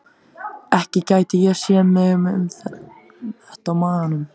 Ekki gæti ég séð mig með þetta á maganum.